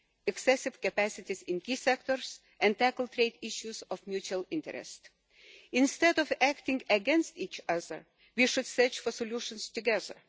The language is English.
excessive capacities in key sectors and tackle trade issues of mutual interest. Instead of acting against each other, we should search for solutions together.